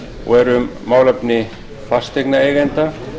og er um málefni fasteignaeigenda